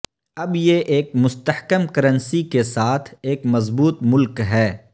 اب یہ ایک مستحکم کرنسی کے ساتھ ایک مضبوط ملک ہے